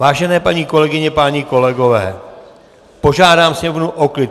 Vážené paní kolegyně, páni kolegové, požádám sněmovnu o klid.